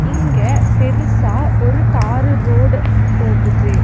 இங்க பெருசா ஒரு தாரு ரோடு போகுது.